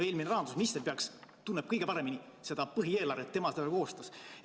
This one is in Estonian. Eelmine rahandusminister peaks tundma kõige paremini seda põhieelarvet, tema selle koostas.